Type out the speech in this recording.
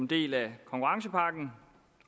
en del af konkurrencepakken